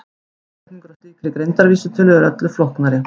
Útreikningur á slíkri greindarvísitölu er öllu flóknari.